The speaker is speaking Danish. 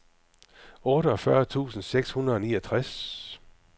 otteogfyrre tusind seks hundrede og niogtres